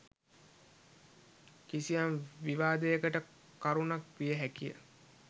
කිසියම් විවාදයකට කරුණක් විය හැකි ය